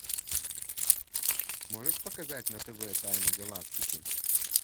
можешь показать на тв тайны галактики